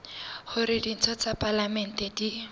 hore ditho tsa palamente di